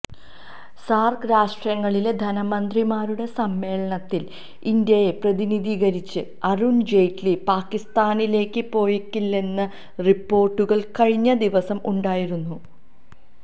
SAARC രാഷ്ട്രങ്ങളിലെ ധനമന്ത്രിമാരുടെ സമ്മേളനത്തിൽ ഇന്ത്യയെ പ്രതിനിധീകരിച്ച് അരുൺ ജെയ്റ്റ്ലി പാക്കിസ്ഥാനിലേക്ക് പോയേക്കില്ലെന്ന റിപ്പോർട്ടുകൾ കഴിഞ്ഞദിവസം ഉണ്ടായിരുന്നു